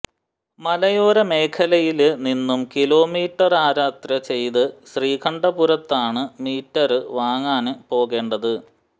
മലയോര മേഖലയില് നിന്നും കിലോമീറ്റര്യാത്ര ചെയ്ത് ശ്രീകണ്ഠപുരത്താണ് മീറ്റര് വാങ്ങാന് പോകേണ്ടത്